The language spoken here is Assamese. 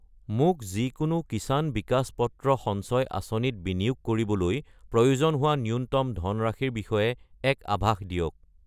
মোক যিকোনো কিষাণ বিকাশ পত্ৰ সঞ্চয় আঁচনি ত বিনিয়োগ কৰিবলৈ প্ৰয়োজন হোৱা ন্যূনতম ধনৰাশিৰ বিষয়ে এক আভাস দিয়ক।